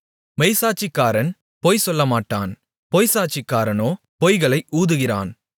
மெய்ச்சாட்சிக்காரன் பொய்சொல்லமாட்டான் பொய்ச்சாட்சிக்காரனோ பொய்களை ஊதுகிறான்